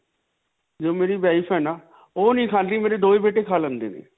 ਜੋ ਮੇਰੀ wife ਹੈ ਨਾ. ਓਹ ਨਹੀਂ ਕਹਾਉਂਦੀ ਮੇਰੇ ਦੋਨੋਂ ਬੇਟੇ ਖਾ ਲੈਂਦੇ ਨੇ.